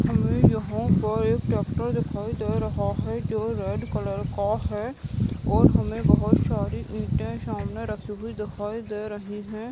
हमें यहाँ पर एक ट्रैक्टर दिखाई दे रहा हैं जो रेड कलर का हैं और हमें बहोत सारी ईटे सामने रखी हुई दिखाई दे रही हैं।